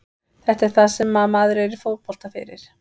Þetta er það sem maður er í fótbolta fyrir.